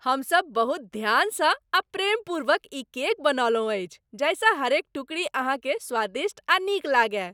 हमसभ बहुत ध्यानसँ आ प्रेमपूर्वक ई केक बनौलहुँ अछि जाहिसँ हरेक टुकड़ी अहाँकेँ स्वादिष्ट आ नीक लागय।